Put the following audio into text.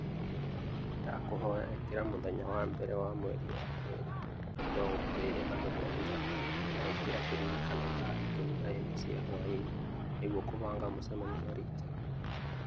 Nĩndakũhoya ĩkira mũthenya wa mbere wa mweri wa kerĩ mĩrongo ĩĩrĩ na mũgwanja na ĩkira kĩririkano thaa ikũmi na ĩmwe cia hwaĩinĩ nĩguo kũbanga mũcemanio na Richard